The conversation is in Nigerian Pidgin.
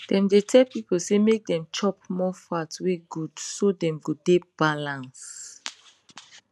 dem dey tell people say make dem chop more fat wen good so dem go dey balance